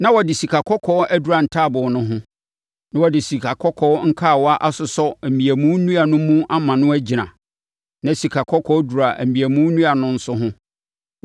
Na wɔde sikakɔkɔɔ adura ntaaboo no ho, na wɔde sikakɔkɔɔ nkawa asosɔ mmeamu nnua no mu ama no agyina. Na sikakɔkɔɔ dura mmeamu nnua no nso ho.